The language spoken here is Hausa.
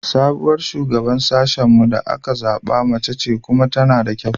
Sabuwar Shugaban Sashen mu da aka zaɓa mace ce kuma tana da kyau.